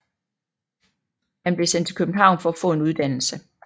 Han blev sendt til København for at få en uddannelse